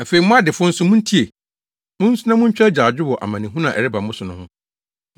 Afei mo adefo nso muntie! Munsu na muntwa agyaadwo wɔ amanehunu a ɛreba mo so no ho.